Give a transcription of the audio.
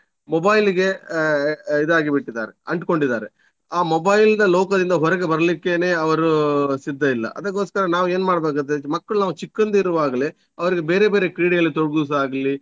Mobile ಗೆ ಆಹ್ ಅಹ್ ಇದಾಗಿ ಬಿಟ್ಟಿದಾರೆ ಅಂಟ್ಕೊಂಡಿದ್ದಾರೆ ಆ mobile ನ ಲೋಕದಿಂದ ಹೊರಗೆ ಬರ್ಲಿಕ್ಕೇನೆ ಅವರು ಸಿದ್ದ ಇಲ್ಲ. ಅದಕ್ಕೋಸ್ಕರ ನಾವು ಏನ್ ಮಾಡ್ಬೇಕಗತ್ತೆ ಮಕ್ಳು ನಾವು ಚಿಕ್ಕಂದಿರುವಾಗಲೇ ಅವರಿಗೆ ಬೇರೆ ಬೇರೆ ಕ್ರೀಡೆಯಲ್ಲಿತೊಡಗಿಸುವದಾಗ್ಲಿ.